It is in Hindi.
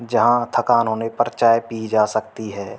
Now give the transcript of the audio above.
जहां थकान होने पर चाय पी जा सकती है।